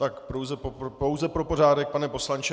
Tak pouze pro pořádek, pane poslanče.